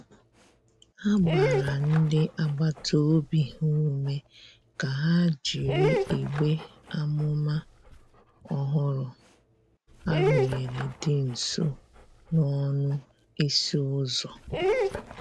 Ha gbara ndi agbata obi ha ume ka ha jịrị igbe amụma ọhụrụ a rụnyere di nso n'ọnụ ịsị uzọ.